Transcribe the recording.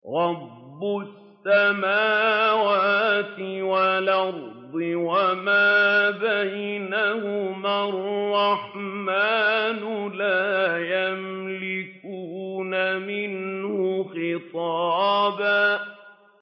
رَّبِّ السَّمَاوَاتِ وَالْأَرْضِ وَمَا بَيْنَهُمَا الرَّحْمَٰنِ ۖ لَا يَمْلِكُونَ مِنْهُ خِطَابًا